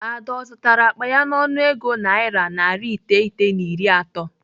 Ada ọ zụtara akpa ya n'ọnụego naira narị iteghete na iri atọ?